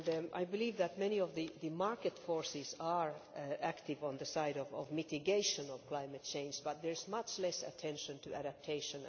I believe that many of the market forces are active on the side of mitigation of climate change, but there is much less attention to adaptation.